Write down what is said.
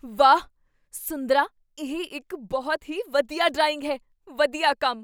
ਵਾਹ! ਸੁੰਦਰਾ ਇਹ ਇੱਕ ਬਹੁਤ ਹੀ ਵਧੀਆ ਡਰਾਇੰਗ ਹੈ! ਵਧੀਆ ਕੰਮ